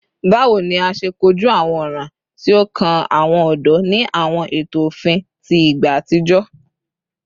Bawo ni a ṣe koju awọn ọran ti o kan awọn ọdọ ni awọn eto ofin ti igba atijọ?